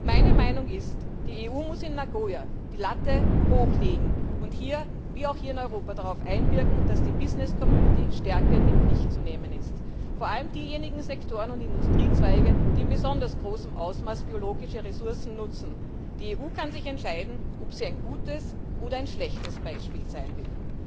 Meine Meinung ist Die EU muss in Nagoya die Messlatte hoch anlegen und wie auch hier in Europa darauf einwirken, dass die Business Community stärker in die Pflicht zu nehmen ist, vor allem diejenigen Sektoren und Industriezweige, die in besonders großem Ausmaß biologische Ressourcen nutzen. Die EU kann sich entscheiden, ob sie ein gutes oder ein schlechtes Beispiel sein will.